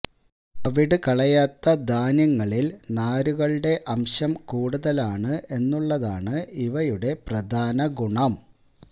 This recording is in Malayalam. തവിടു കളയാത്ത ധാന്യങ്ങളില് നാരുകളുടെ അംശം കൂടുതലാണ് എന്നുള്ളതാണ് ഇവയുടെ പ്രധാന ഗുണം